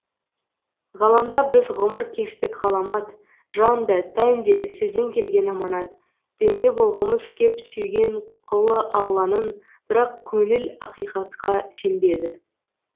ғаламда біз ғұмыр кештік ғаламат жан да тән де сізден келген аманат пенде болғымыз кеп сүйген құлы алланың бірақ көңіл ақиқатқа сенбеді